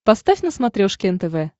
поставь на смотрешке нтв